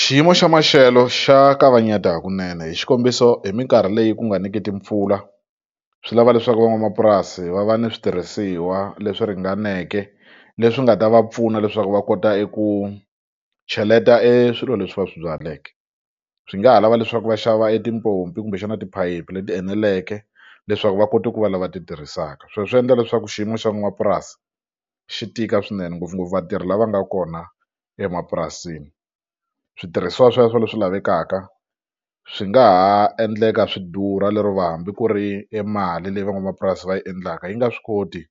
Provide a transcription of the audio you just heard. Xiyimo xa maxelo xa kavanyeta hakunene hi xikombiso hi mikarhi leyi ku nga niki timpfula swi lava leswaku van'wamapurasi va va ni switirhisiwa leswi ringaneke leswi nga ta va pfuna leswaku va kota eku cheleta e swilo leswi va swi byaleke swi nga ha lava leswaku va xava e tipompi kumbexana tiphayiphi leti eneleke leswaku va kota ku va lava ti tirhisaka sweswo swi endla leswaku xiyimo xa n'wapurasi xi tika swinene ngopfungopfu vatirhi lava nga kona emapurasini switirhisiwa sweswo leswi lavekaka swi nga ha endleka swi durha lero va hambi ku ri e mali leyi van'wamapurasi va yi endlaka yi nga swi koti